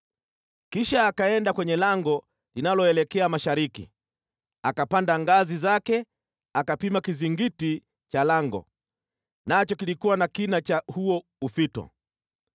Kisha akaenda kwenye lango linaloelekea mashariki. Akapanda ngazi zake akapima kizingiti cha lango, nacho kilikuwa na kina cha huo ufito.